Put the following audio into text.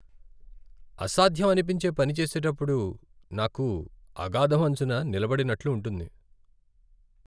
అసాధ్యం అనిపించే పని చేసేటప్పుడు నాకు అగాధం అంచున నిలబడినట్లు ఉంటుంది.